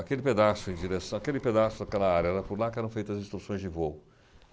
Aquele pedaço, emdireçã aquele pedaço, aquela área, era por lá que eram feitas as instruções de voo.